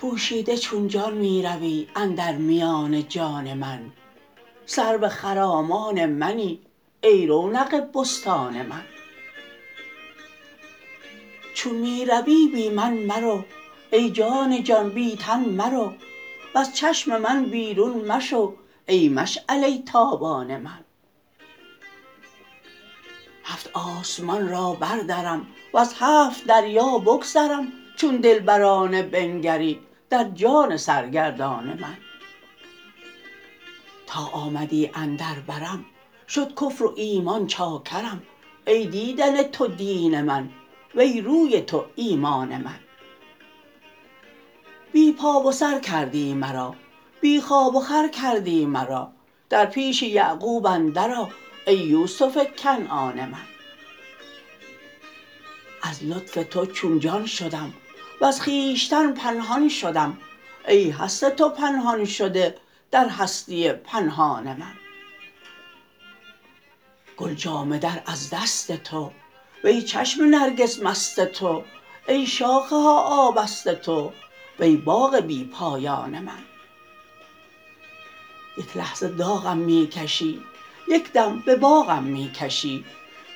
پوشیده چون جان می روی اندر میان جان من سرو خرامان منی ای رونق بستان من چون می روی بی من مرو ای جان جان بی تن مرو وز چشم من بیرون مشو ای مشعله ی تابان من هفت آسمان را بردرم وز هفت دریا بگذرم چون دلبرانه بنگری در جان سرگردان من تا آمدی اندر برم شد کفر و ایمان چاکرم ای دیدن تو دین من وی روی تو ایمان من بی پا و سر کردی مرا بی خواب و خور کردی مرا در پیش یعقوب اندر آ ای یوسف کنعان من از لطف تو چون جان شدم وز خویش تن پنهان شدم ای هست تو پنهان شده در هستی پنهان من گل جامه در از دست تو وی چشم نرگس مست تو ای شاخه ها آبست تو وی باغ بی پایان من یک لحظه داغم می کشی یک دم به باغم می کشی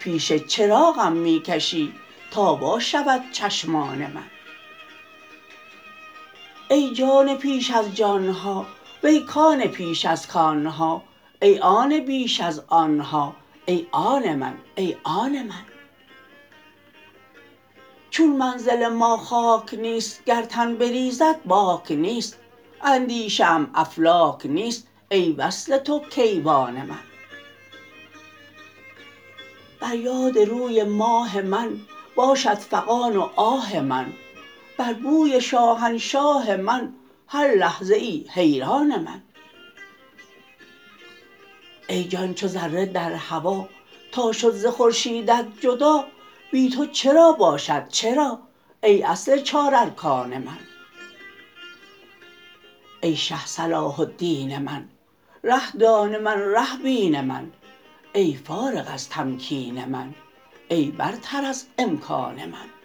پیش چراغم می کشی تا وا شود چشمان من ای جان پیش از جان ها وی کان پیش از کان ها ای آن بیش از آن ها ای آن من ای آن من چون منزل ما خاک نیست گر تن بریزد باک نیست اندیشه ام افلاک نیست ای وصل تو کیوان من بر یاد روی ماه من باشد فغان و آه من بر بوی شاهنشاه من هر لحظه ای حیران من ای جان چو ذره در هوا تا شد ز خورشیدت جدا بی تو چرا باشد چرا ای اصل چارارکان من ای شه صلاح الدین من ره دان من ره بین من ای فارغ از تمکین من ای برتر از امکان من